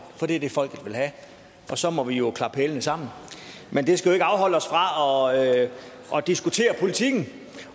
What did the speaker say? for det er det folket vil have og så må vi jo klappe hælene sammen men det skal jo ikke afholde os fra at diskutere politikken